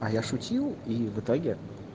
а я шутил и в итоге